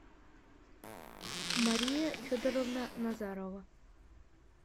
мария федоровна назарова